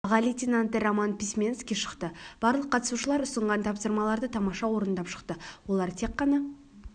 аға лейтенанты роман письменский шықты барлық қатысушылар ұсынған тапсырмаларды тамаша орындап шықты олар тек қана